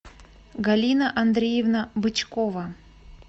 галина андреевна бычкова